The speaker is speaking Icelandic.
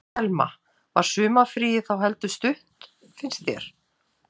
Telma: Var sumarfríið þá heldur stutt finnst þér?